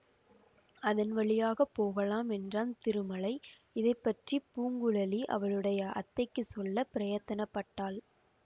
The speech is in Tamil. அதன் வழியாக போகலாம் என்றான் திருமலை இதை பற்றி பூங்குழலி அவளுடைய அத்தைக்குச் சொல்ல பிரயத்தன பட்டாள்